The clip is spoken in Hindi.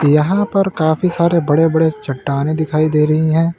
यहां पर काफी सारे बड़े बड़े चट्टानें दिखाई दे रही हैं।